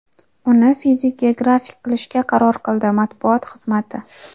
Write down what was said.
uni fizik-geografik qilishga qaror qildi – matbuot xizmati.